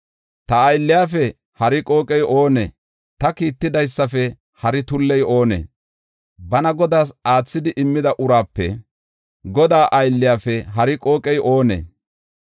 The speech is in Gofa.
Ta aylliyafe hari qooqey oonee? Ta kiittidaysafe hari tulley oonee? Bana Godaas aathidi immida uraape Godaa aylliyafe hari qooqey oonee?